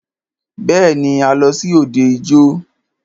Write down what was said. Bẹ́ẹ̀ni,a lọ sí òde ijó.